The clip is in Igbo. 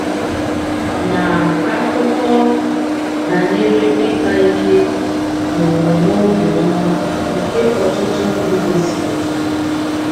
um Ma a akụkọ banyere ịkpa ike na um omume obiọma nke ọtụtụ ndị gosipụtara.